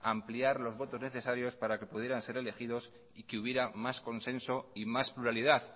ampliar los votos necesarios para que pudieran ser elegidos si hubiera más consenso y más pluralidad